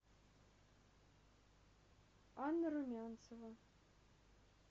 анна румянцева